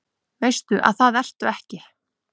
Veist að það ertu ekki.